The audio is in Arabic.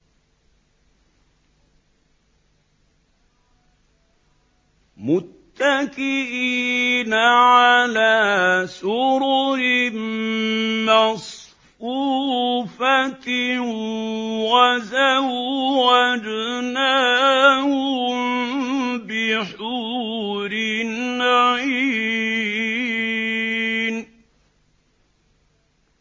مُتَّكِئِينَ عَلَىٰ سُرُرٍ مَّصْفُوفَةٍ ۖ وَزَوَّجْنَاهُم بِحُورٍ عِينٍ